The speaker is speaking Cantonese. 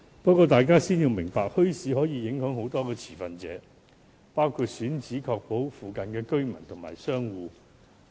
不過，大家先要明白，墟市政策影響很多持份者，包括墟市選址附近的居民及商戶。